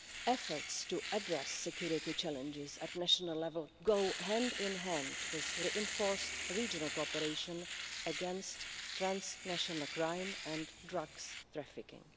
Efforts to address security challenges at national level go hand in hand with reinforced regional cooperation against transnational crime and drug trafficking.